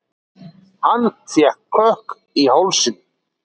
Hann fékk kökk í hálsinn.